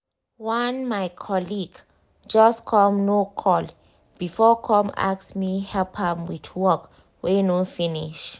one my colleague just come no call before come ask me help am with work wey no finish.